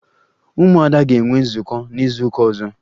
Umuada ga-enwe nzukọ n'izuụka ọzọ